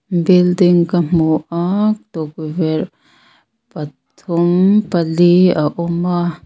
building ka hmu a tukverh pathum pali a awm a.